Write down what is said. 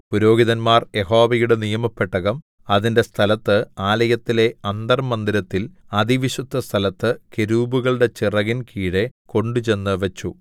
പുരോഹിതന്മാർ യഹോവയുടെ നിയമപെട്ടകം അതിന്റെ സ്ഥലത്ത് ആലയത്തിലെ അന്തർമ്മന്ദിരത്തിൽ അതിവിശുദ്ധസ്ഥലത്ത് കെരൂബുകളുടെ ചിറകിൻ കീഴെ കൊണ്ടുചെന്നു വെച്ചു